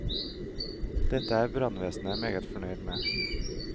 Dette er brannvesenet meget fornøyd med.